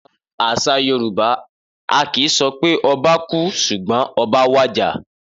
Nínú àsà Yorùbá, a kì í so pé obá kú sùgbón 'oba wàjà'